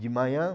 De manhã